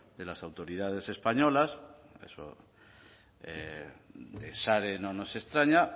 de las autoridades españolas eso de sare no nos extraña